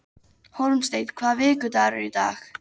Hólmsteinn, hvaða vikudagur er í dag?